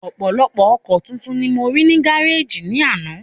Ọ̀pọ̀lọpọ̀ ọkọ̀ titun ni mo rí ní gáréjì ní àná